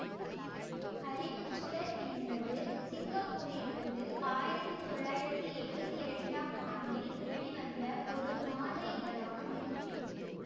அறிவுச் சுடர் என்பது சிங்கப்பூரிலிருந்து ஆயிரத்தி தொள்ளாயிரத்தி எழுவத்தி இரண்டாம் ஆண்டில் வெளிவந்த ஒரு மாத இதழாகும்